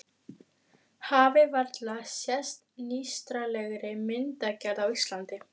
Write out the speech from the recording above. Hafi varla sést nýstárlegri myndgerð á Íslandi.